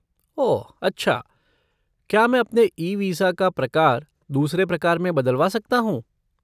ओह अच्छा। क्या मैं अपने ई वीसा का प्रकार दूसरे प्रकार में बदलवा सकता हूँ?